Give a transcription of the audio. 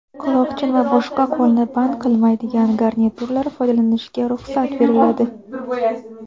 quloqchin va boshqa qo‘lni band qilmaydigan garnituralar foydalanishga ruxsat beriladi.